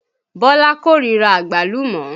Bọ́lá kó ríra Àgbálùmọ́